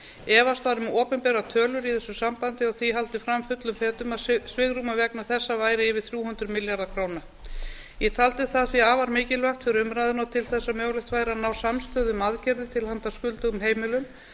efast var um opinberar tölur í þessu sambandi og því haldið fram fullum fetum að svigrúmið vegna þessa væri yfir þrjú hundruð milljarða króna ég taldi það því afar mikilvægt fyrir umræðuna og til þess að mögulegt væri að ná samstöðu um aðgerðir til handa skuldugum heimilum